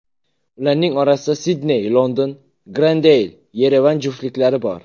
Ularning orasida Sidney−London, Grendeyl−Yerevan juftliklari bor.